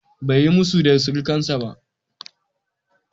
Bai yi musu da surukansa ba.